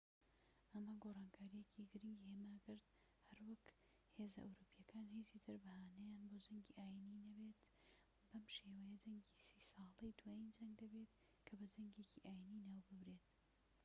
ئەمە گۆڕانکاریەکی گرنگی هێماکرد هەروەک هێزە ئەوروپیەکان هیچی تر بەهانەیان بۆ جەنگی ئاینیی نابێت بەم شێوەیە جەنگی سی ساڵە دوایین جەنگ دەبێت کە بە جەنگێکی ئاینیی ناو ببرێت